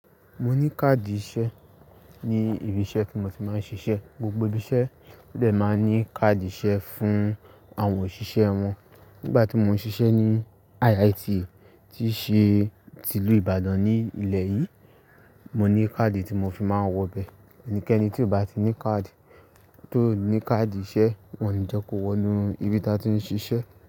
Mo ní káàdì iṣẹ́ ní ibi iṣẹ́ tí mo ti máa ń ṣiṣẹ́. Gbogbo ibi iṣẹ́ ó dẹ̀ máa ń ní káàdì iṣẹ́ fún àwọn òṣìṣẹ́ wọn. Nígbà tí mo ń ṣiṣẹ́ ní IITE tí ṣe tí ìlú Ìbàdàn ní ilẹ̀ yìí, mo ní card tí mo fi máa ń wọ bẹ. Ẹnikẹ́ni tí kò bá ti ní card, tó ní card iṣẹ́ wọn ni jẹ́ kó wọnú ibi tí wọ́n ti ń ṣiṣẹ́.